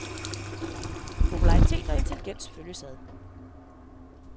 Popularitet og intelligens følges ad.